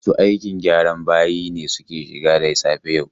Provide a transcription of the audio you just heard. Masu aikin gyran bayi ne suka shigo da safe yau.